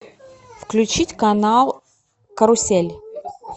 включить канал карусель